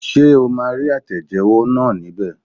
Ṣé o maa rí àtẹ̀jẹ́wọ́ náà ní bẹ̀